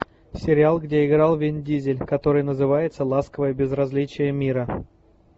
сериал где играл вин дизель который называется ласковое безразличие мира